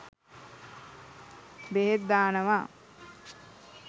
බෙහෙත් දානවා.